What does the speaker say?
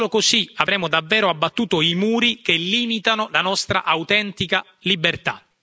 Solo così avremo davvero abbattuto i muri che limitano la nostra autentica libertà.